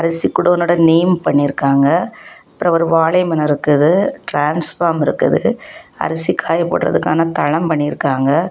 அரிசிகோடௌன் உன்னோட நேம் பண்ணி இருக்காங்க அப்புறம் ஒரு வாழைமரம் இருக்குது ட்ரான்ஸ்ஃபார்ம் இருக்குது அரிசி காய போடுறதுக்கான தளம் பண்ணிருக்காங்க.